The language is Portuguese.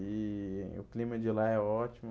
E o clima de lá é ótimo.